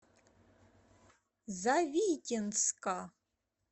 завитинска